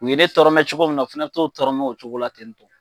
U ye tɔrɔmɛ cogo min na o fɛnɛ bɛ t'o tɔrɔmɛ o cogo la ten tɔ.